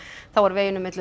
þá var veginum milli